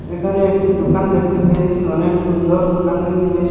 এখানে একটি দোকান দেখতে পেয়েসি অনেক সুন্দর দোকান দেখতে পেয়েসি ।